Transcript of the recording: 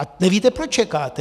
A nevíte, proč čekáte.